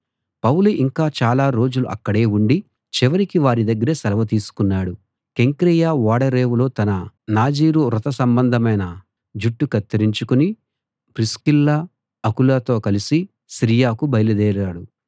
పౌలు ఇంకా చాలా రోజులు అక్కడే ఉండి చివరికి వారి దగ్గర సెలవు తీసుకున్నాడు కెంక్రేయ ఓడరేవులో తన నాజీరు వ్రత సంబంధమైన జుట్టు కత్తిరించుకుని ప్రిస్కిల్ల అకులతో కలిసి సిరియాకు బయలుదేరాడు